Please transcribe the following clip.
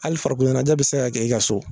Hali farikolo ɲɛnajɛ bi se ka kɛ i ka so.